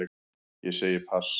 Ég segi pass.